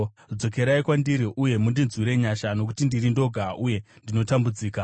Dzokerai kwandiri uye mundinzwire nyasha, nokuti ndiri ndoga uye ndinotambudzika.